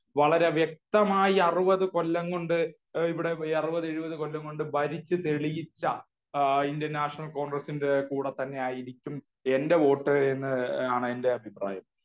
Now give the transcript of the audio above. വളരെ വ്യക്തമായി അറുപത് കൊല്ലം കൊണ്ട് ഇവിടെ അറുപത് എഴുപത് കൊല്ലം കൊണ്ട് ഭരിച്ചു തെളിയിച്ച ആ ഇന്ത്യൻ നാഷനൽ കോണ്ഗ്രസ്സിന്റെ കൂടെ തന്നെയായിരിക്കും എന്റെ വോട്ട് എന്നാണെന്റെ അഭിപ്രായം.